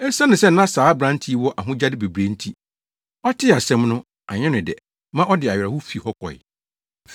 Esiane sɛ na saa aberante yi wɔ ahonyade bebree nti, ɔtee saa nsɛm no, anyɛ no dɛ maa ɔde awerɛhow fii hɔ kɔe.